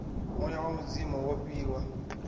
muya wa mudzimu wo fhiwa